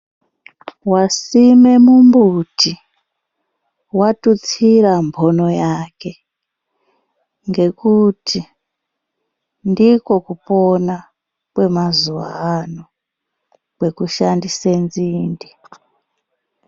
Wasima mumbuti watutsira mhono yake ngekuti ndikwo kupona kwemazuwa ano kweku shandise nzinde.